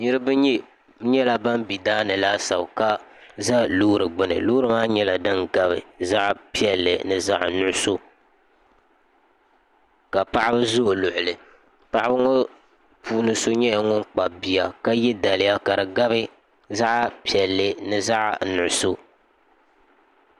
niraba nyɛla ban bɛ daani laasabu ka ʒɛ loori gbuni loori maa nyɛla din gabi zaɣ piɛlli ni zaɣ nuɣso ka paɣaba ʒɛ o luɣuli paɣaba ŋɔ puuni so nyɛla ŋun kpabi bia ka yɛ daliya ka di gabi zaɣ piɛlli ni zaɣ nuɣso